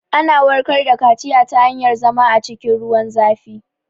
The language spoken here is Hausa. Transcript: Ana warkar da kaciya ta hanyar zama a cikin ruwan zafi